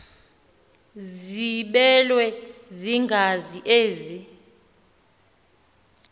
ziblelwe yingazi ezi